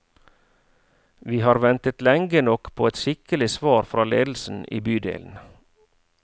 Vi har ventet lenge nok på et skikkelig svar fra ledelsen i bydelen.